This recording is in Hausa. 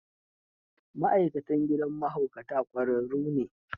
Ma'aikatan gidan mahaukata ƙwararru ne.